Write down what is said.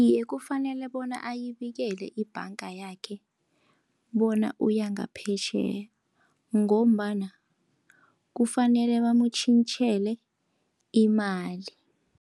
Iye, kufanele bona ayibikele ibhanga yakhe bona uya ngaphetjheya, ngombana kufanele bamutjhintjhele imali.